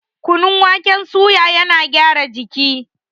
Kunun waken suya yana gyara jiki